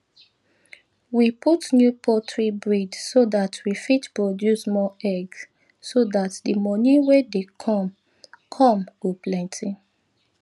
we put new poultry breed so that we fit produce more egg so that the moni wy dey come come go penty